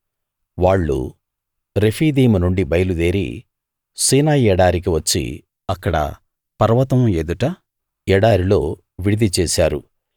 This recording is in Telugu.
వాళ్ళు రెఫీదీము నుండి బయలుదేరి సీనాయి ఎడారికి వచ్చి అక్కడ పర్వతం ఎదుట ఎడారిలో విడిది చేశారు